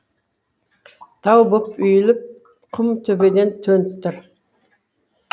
тау боп үйілген құм төбеден төніп тұр